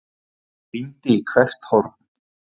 Rýndi í hvert horn.